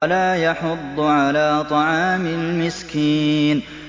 وَلَا يَحُضُّ عَلَىٰ طَعَامِ الْمِسْكِينِ